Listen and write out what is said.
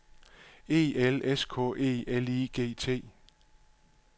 E L S K E L I G T